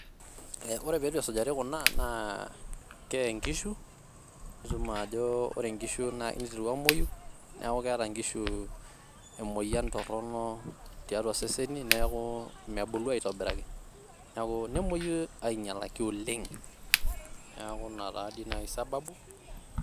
ee ore peitu esujari kuna naa keye inkishu ,nitum ajo ore inkishu neituru amwoyu neaku keeta nkishu emoyian torono tiatua seseni niaku mebulu aitobiraki, niaku nemwoyu ainyalaki oleng .niaku ina taa di naji sababu